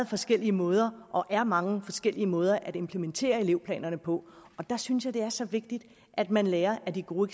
forskellige måder og er mange forskellige måder at implementere elevplanerne på der synes jeg det er så vigtigt at man lærer af de gode